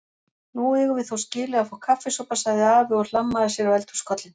Nú eigum við þó skilið að fá kaffisopa sagði afi og hlammaði sér á eldhúskollinn.